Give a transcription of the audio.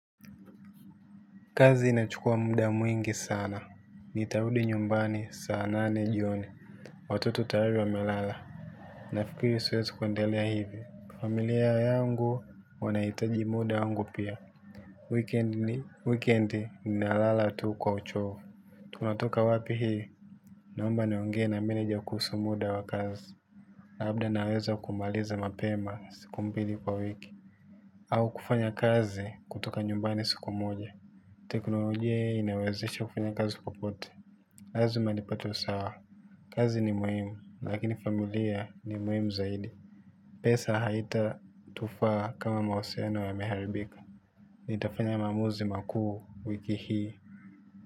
Kazi inachukua muda mwingi sana. Nitarudi nyumbani saa nane jioni. Watoto tayari wamelala. Nafikiri siwezi kuendelea hivi. Familia yangu wanahitaji muda wangu pia. Wikendi ninalala tu kwa uchovu. Tunatoka wapi hii. Naomba niongee na meneja kuhusu muda wa kazi. Labda naweza kumaliza mapema siku mbili kwa wiki. Au kufanya kazi kutoka nyumbani siku moja. Teknolojia inawezesha kufanya kazi popote. Lazima nipate usawa. Kazi ni muhimu, lakini familia ni muhimu zaidi. Pesa haitatufaa kama mawasiliano yameharibika. Nitafanya maamuzi makuu wiki hii.